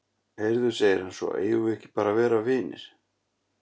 Heyrðu, segir hann svo, eigum við ekki bara að vera vinir?